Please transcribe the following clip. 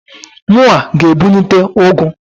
Mụnwa g'ebunite ụgụ.